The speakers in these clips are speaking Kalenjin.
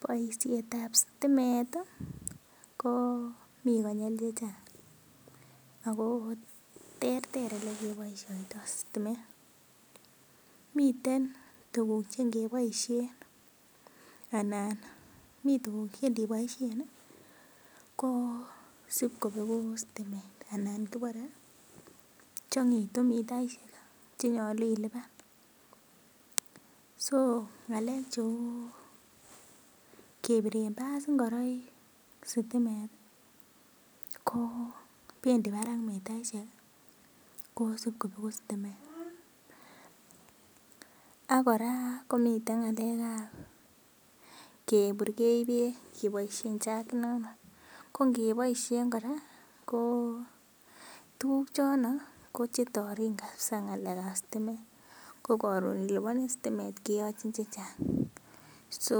Boisiet ab stimeti ii ko mi konyil chechang, ko mi konyil chechang' ako terter olekeboisioto sitimet, miten tukuk chekeboisien anan mi tukuk cheiniboisien ii ko sibkobegu sitimet anan kibore chong'itu mitaisiek cheny'olu iliban, so ng'alek cheu kebiren bas ingoroik sitimet i ko bendi barak mitaisiek kosib kobegu sitimet ak kora komiten ng'alek ab keburgei beek keboisien chagit nono, ko ng'eboisien kora ko tukuk chono ko che torin kabza ng'alek ab sitimet ko karun iliboni sitimet keyochin rabinik chechang, so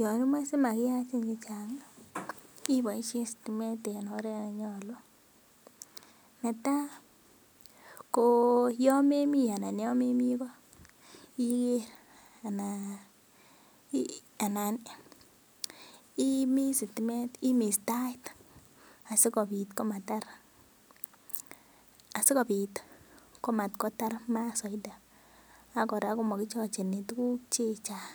yonimoje simakiyachin chechang ii iboisien sitimet en oret nenyolu, netai ko yomemi anan yomemi ko ,iger anan imis sitimet, imis taik asikobit komakotar maat soiti ak kora komakichocheni tukuk chechang'